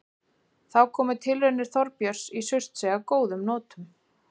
Þá komu tilraunir Þorbjörns í Surtsey að góðum notum.